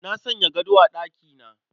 Na sanya gado a ɗakina